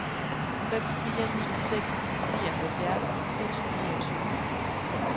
fem fire ni seks nioghalvfjerds seks hundrede og tyve